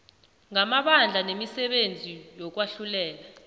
ngamabandla nemisebenzi yokwahlulela